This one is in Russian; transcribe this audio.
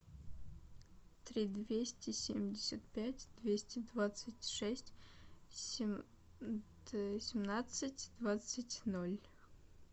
три двести семьдесят пять двести двадцать шесть семнадцать двадцать ноль